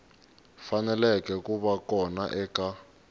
faneleke ku va kona eka